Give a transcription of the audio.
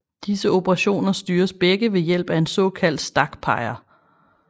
Disse operationer styres begge ved ved hjælp af en såkaldt stakpeger